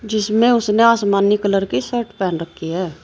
जिसमें उसने आसमानी कलर की शर्ट पहन रखी है।